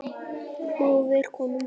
móðir konu manns